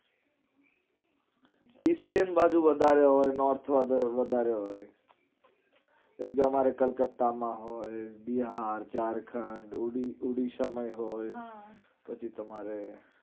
eastern બાજુ વધારે હોય north માં તો વધારે હોય. કે જે અમારે કલકતા માં હોય બિહાર, ઝારખંડ, ઉડી ઓડિસા માં હોય પછી તમારે